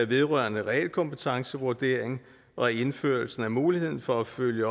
vedrørende realkompetencevurdering og indførelsen af muligheden for at følge